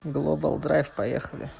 глобалдрайв поехали